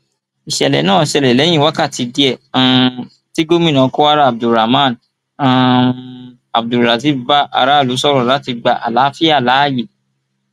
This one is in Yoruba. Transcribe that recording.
ìṣẹlẹ náà ṣẹlẹ lẹyìn wákàtí díẹ um tí gomina kwara abdulrahman um abdulrazib bá aráàlú sọrọ láti gba àlàáfíà láàyè